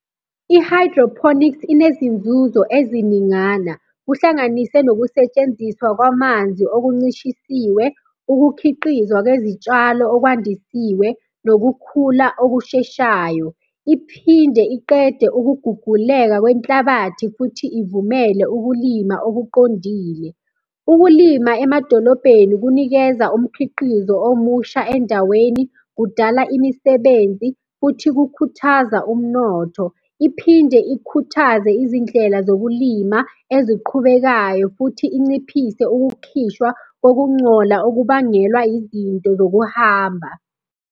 I-hydroponics inezinzuzo eziningana, kuhlanganise nokusetshenziswa kwamanzi okuncishisiwe, ukukhiqizwa kwezitshalo okwandisiwe, nokukhula okusheshayo. Iphinde iqede ukuguguleka kwenhlabathi, futhi ivumele ukulima okuqondile. Ukulima emadolobheni kunikeza umkhiqizo omusha endaweni, kudala imisebenzi, futhi kukhuthaza umnotho. Iphinde ikhuthaze izindlela zokulima eziqhubekayo, futhi inciphise ukukhishwa kokungcola okubangelwa izinto zokuhamba.